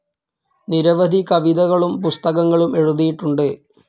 നിരവധി കവിതകളും പുസ്തകങ്ങളും എഴുതിയിട്ടുണ്ട്.